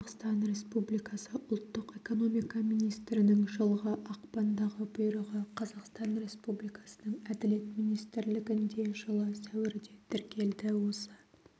қазақстан республикасы ұлттық экономика министрінің жылғы ақпандағы бұйрығы қазақстан республикасының әділет министрлігінде жылы сәуірде тіркелді осы